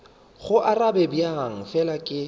go arabe bjang fela ke